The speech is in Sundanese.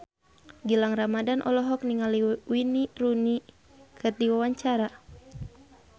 Gilang Ramadan olohok ningali Wayne Rooney keur diwawancara